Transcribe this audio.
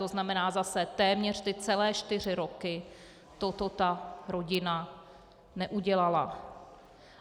To znamená zase téměř ty celé čtyři roky toto ta rodina neudělala.